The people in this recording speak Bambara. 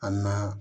A na